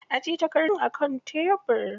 Ajiye takardun akan tebir.